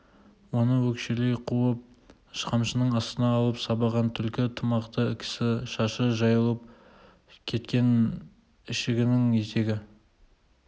оны өкшелей қуып қамшының астына алып сабаған түлкі тымақты кісі шашы жайылып кеткен ішігінің етегі